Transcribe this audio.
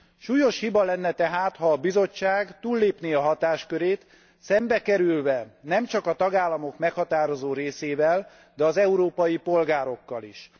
Súlyos hiba lenne tehát, ha a Bizottság túllépné a hatáskörét, szembekerülve nemcsak a tagállamok meghatározó részével, de az európai polgárokkal is.